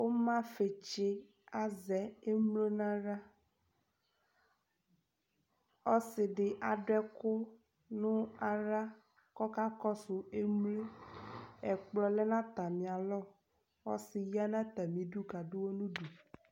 Ʋmafɩtsɩ azɛ umlo n'aɣla; ɔsɩdɩ adʋ ɛkʋ nʋ aɣla k'ɔka ƙɔsʋ emlo; ɛkplɔ lɛ n'atamɩalɔ Ɔsɩ ya n'atamidu k'adʋɣɔ n'udu